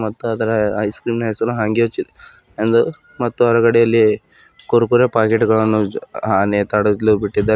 ಮತ್ತು ಅದರ ice cream ನ ಹೆಸರು ಹಾಂಗ್ಯೋ ಚಿ ಎಂದು ಮತ್ತು ಹೊರಗಡೆಯಲ್ಲಿ ಕುರ್ಕುರೆ ಪ್ಯಾಕೆಟ್ ಗಳನ್ನು ಅ ನೇತಾಡಲು ಬಿಟ್ಟಿದ್ದಾರೆ.